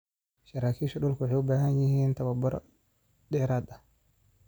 Saraakiisha dhulku waxay u baahan yihiin tababaro dheeraad ah.